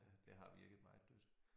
Det har virket meget dødt